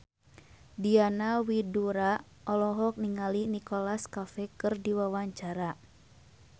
Diana Widoera olohok ningali Nicholas Cafe keur diwawancara